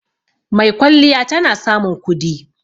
Maikwalliya tana samun kudi